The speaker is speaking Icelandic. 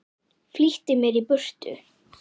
Flýtti mér í burtu.